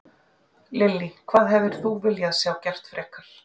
Lillý: Hvað hefðir þú viljað sjá gert frekar?